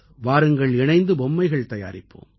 வாருங்கள் இணைந்து பொம்மைகள் தயாரிப்போம்